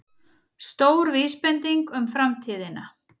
Stór vísbending um framtíðina